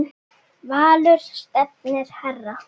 Valur stefnir hærra.